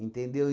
Entendeu?